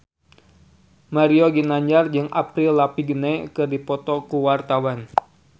Mario Ginanjar jeung Avril Lavigne keur dipoto ku wartawan